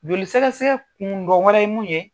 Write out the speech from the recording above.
Joli sɛgɛ sɛgɛ kun dɔn wɛrɛ ye mun ye